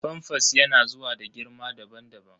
famfas yana zuwa da girma daban-daban.